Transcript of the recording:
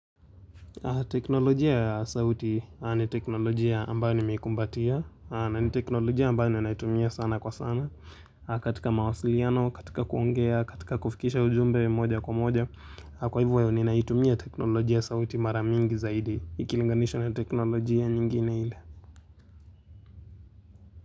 Teknolojia ya sauti ni teknolojia ambayo nimeikumbatia na ni teknolojia ambayo ninaitumia sana kwa sana katika mawasiliano, katika kuongea, katika kufikisha ujumbe moja kwa moja Kwa hivyo ninaitumia teknolojia sauti mara mingi zaidi Ikilinganishwa na teknolojia nyingine ile.